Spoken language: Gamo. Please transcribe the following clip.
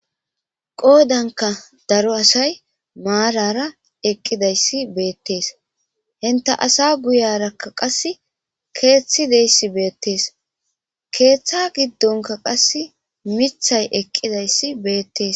Qodanka cora asatika marara eqidaysi bettes. intta assa guyiyaraka qassi keththi dizaysi bettes. Keththa gidonka qasi miththi eqidaysi bettes.